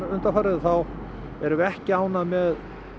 þá erum við ekki ánægð með